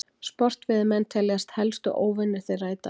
Sportveiðimenn teljast helstu óvinir þeirra í dag.